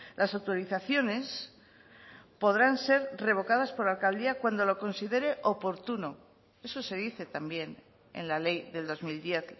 las autorizaciones podrán ser revocadas por la alcaldía cuando lo considere oportuno eso se dice también en la ley del dos mil diez